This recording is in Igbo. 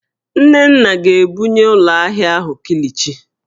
Nnenna ga-ebunye ụlọ ahịa ahụ kilichi?